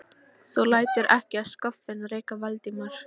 Þú lætur ekki það skoffín reka Valdimar!